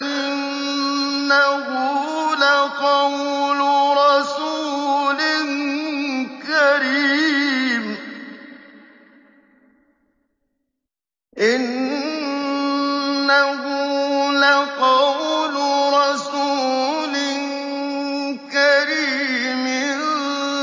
إِنَّهُ لَقَوْلُ رَسُولٍ كَرِيمٍ